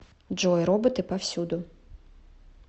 джой роботы повсюду